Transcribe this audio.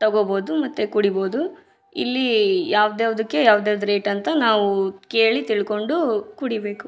ತಗೋಬಹುದು ಮತ್ತೆ ಕುಡೀಬಹುದು ಇಲ್ಲಿ ಯಾವ್ದ್ ಯಾವದಕ್ಕೆ ಯಾವ್ ಯಾವ್ದ್ ರೇಟ್ ಅಂತ ನಾವು ಕೇಳಿ ತಿಳ್ಕೊಂಡು ಕುಡಿಬೇಕು .